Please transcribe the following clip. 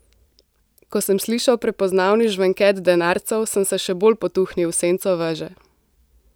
Ko sem slišal prepoznavni žvenket denarcev, sem se še bolj potuhnil v senco veže.